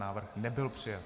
Návrh nebyl přijat.